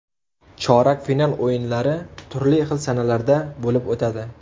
Chorak final o‘yinlari turli xil sanalarda bo‘lib o‘tadi.